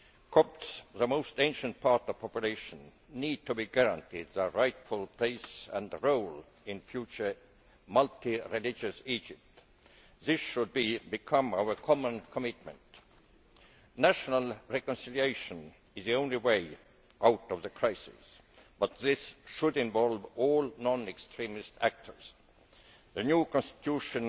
Copts, the most ancient part of the population, need to be guaranteed their rightful place and role in a future multi religious Egypt. This should become our common commitment. National reconciliation is the only way out of the crisis, but this should involve all non extremist actors. The new constitution